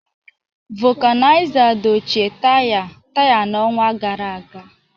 Vulcanizer dochie taya taya n'ọnwa gara aga